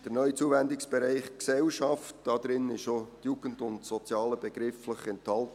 Im neuen Zuwendungsbereich Gesellschaft sind auch die Jugend und das Soziale begrifflich enthalten.